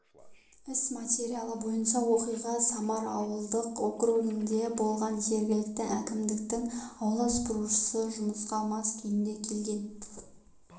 іс материалы бойынша оқиға самар ауылдық округінде болған жергілікті әкімдіктің аула сыпырушысы жұмысқа мас күйінде келген